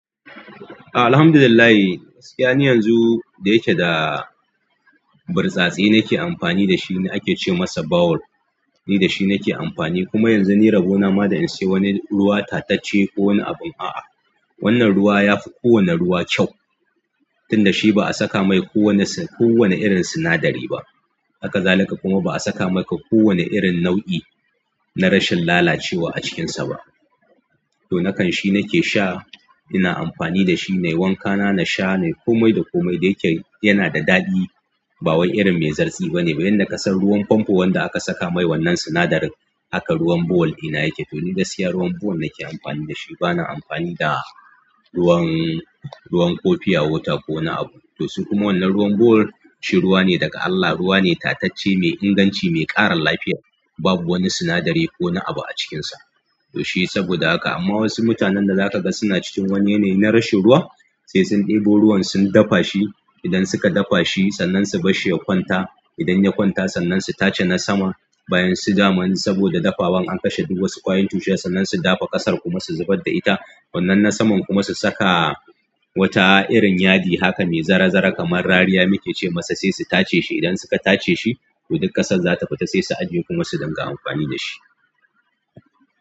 A alhamdulillah, gaskiya ne yanzu da yake da burtsatse na ke amfani da shi, ake ce masa bawul. Ni da shi na ke amfani, kuma yanzu ni rabo nama da in sai wani ruwa tatacce ko wani abin. A'a, wannan ruwa ya fi kowane ruwa kyau, tunda shi ba a saka mai kowane, kowane irin sinadari ba. Hakazalika kuma ba a saka mai ka kowane irin nau'i na rashin lalacewa a cikinsa ba. To, nakan shi nake sha. Ina amfani da shi nai wanka na, na sha nai komai da komai. Da yake yana da daɗi, ba wani irin mai zartsi ba ne. Yanda ka san ruwan famfo wanda aka saka mai wannan sinadarin haka, ruwan bohol ɗina yake? To, ni gaskiya ruwan bohol nake amfani da shi. Bana amfani da ruwan, ruwan ko pure water ko wani abu to, su kuma wannan ruwan bawul shi ruwa ne daga Allah, ruwa ne tatacce, mai inganci, mai ƙara lafiya. Babu wani sinadari ko wani abu a cikinsa. To, shi saboda haka. Amma wasu mutanen da zaka ga suna cikin wani yanayi na rashin ruwa, sai sun ɗebo ruwan sun dafa shi. Idan suka dafa shi, sannan su bar shi ya kwanta. Idan ya kwanta, sannan su tace na sama. Bayansu damun saboda dafawan an kashe duk wasu ƙwayoyin cutar, sannan su dafa ƙasar kuma su zubar da ita. Wannan na saman kuma su saka wata irin yadi. Haka ne, zara-zara kamar rariya muke ce masa, sai su tace shi. Idan suka tace shi, to duk ƙasar za ta fita, sai su ajiye kuma su riƙa amfani da shi.